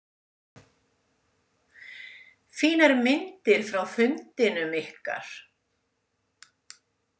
Fínar myndir frá fundinum ykkar.